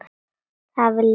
Er það vilji þinn?